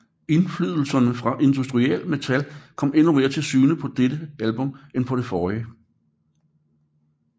Indflydelserne fra industrial metal kom endnu mere til syne på dette album end på det forrige